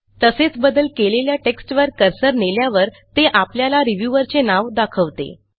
तसेच बदल केलेल्या टेक्स्टवर कर्सर नेल्यावर ते आपल्याला रिव्ह्यूअरचे नाव दाखवते